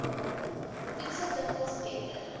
voedsel dikwels beter